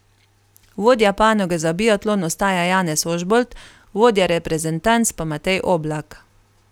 Vodja panoge za biatlon ostaja Janez Ožbolt, vodja reprezentanc pa Matej Oblak.